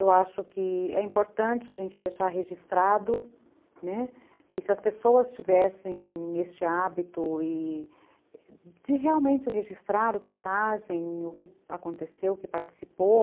Eu acho que é importante a gente deixar registrado, né, e se as pessoas tivessem este hábito de realmente registrar o que fazem, o que aconteceu, o que participou,